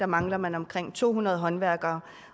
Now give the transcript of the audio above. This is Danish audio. mangler man omkring to hundrede håndværkere